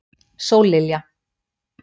Sóllilja